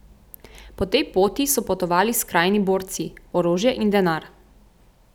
Po tej poti so potovali skrajni borci, orožje in denar.